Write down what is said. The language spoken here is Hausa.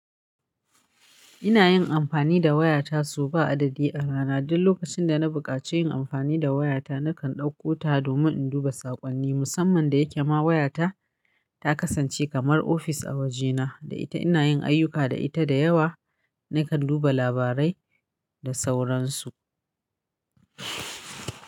Ina yin amfani da wayata sau ba adadi a rana. Duk lokacin da na buƙaci yin amfani da wayata, nakan ɗauko ta domin in duba saƙonni. Musamman da yake ma wayata ta kasance kamar ofis a wajena, da ita ina yin ayyuka da ita da yawa. Nakan duba labarai da sauransu.